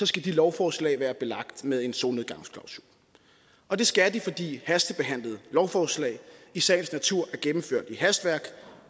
skal de lovforslag være belagt med en solnedgangsklausul og det skal de fordi hastebehandlede lovforslag i sagens natur er gennemført i hastværk